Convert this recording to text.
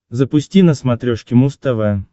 запусти на смотрешке муз тв